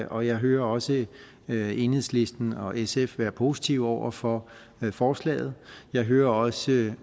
og jeg hører også enhedslisten og sf være positive over for forslaget jeg hører også